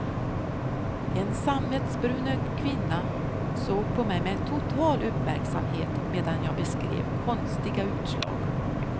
En sammetsbrunögd kvinna såg på mig med total uppmärksamhet medan jag beskrev konstiga utslag.